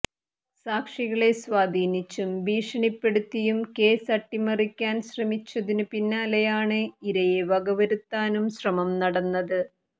സാക്ഷികളെ സ്വാധീനിച്ചും ഭീഷണിപ്പെടുത്തിയും കേസ് അട്ടിമറിക്കാന് ശ്രമിച്ചതിനു പിന്നാലെയാണ് ഇരയെ വകവരുത്താനും ശ്രമം നടന്നത്